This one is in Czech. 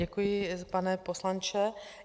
Děkuji, pane poslanče.